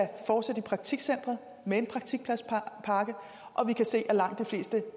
fortsætte i praktikcentret med en praktikpladspakke og vi kan se at langt de fleste